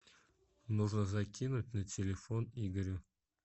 нужно закинуть на телефон игоря